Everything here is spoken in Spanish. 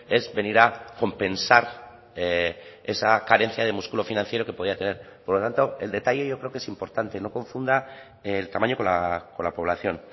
es venir a compensar esa carencia de músculo financiero que podía tener por lo tanto el detalle creo yo que es importante no confunda el tamaño con la población